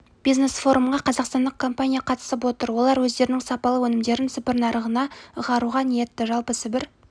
бизнес форумға қазақстандық компания қатысып отыр олар өздерінің сапалы өнімдерін сібір нарығына ығаруға ниетті жалпы сібір